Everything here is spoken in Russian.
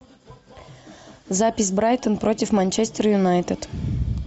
запись брайтон против манчестер юнайтед